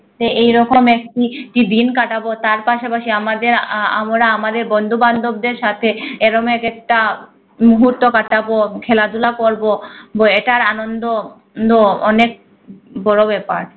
এরকম একটি হি দিন কাঁটাব তার পাশাপাশি আমাদের আহ আমরা আমাদের বন্ধু বান্ধব সাথে এরম একেক টা মুহূর্ত কাঁটাব খেলাধুলা করব বো এটার আন্দন no অনেক বড় ব্যাপার